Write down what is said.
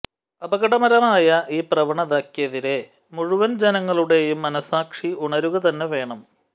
അപകടകരമായ ഈ പ്രവണതയ്ക്കെതിരെ മുഴുവന് ജനങ്ങളുടെയും മനസാക്ഷി ഉണരുകതന്നെ വേണം